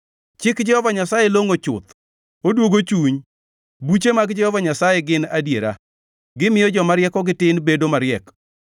Chik Jehova Nyasaye longʼo chuth, odwogo chuny. Buche mag Jehova Nyasaye gin adiera, gimiyo joma riekogi tin bedo mariek.